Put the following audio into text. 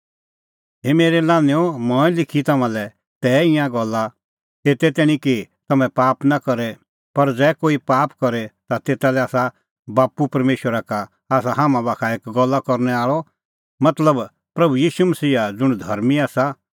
हे मेरै लान्हैंओ मंऐं लिखी तम्हां लै तै ईंयां गल्ला एते तैणीं कि तम्हैं पाप नां करे पर ज़ै कोई पाप करे ता तेता लै आसा बाप्पू परमेशरा का आसा हाम्हां बाखा एक गल्ला करनै आल़अ मतलब प्रभू ईशू मसीहा ज़ुंण धर्मीं आसा